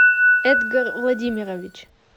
эдгар владимирович